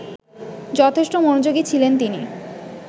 যথেষ্ট মনোযোগী ছিলেন তিনি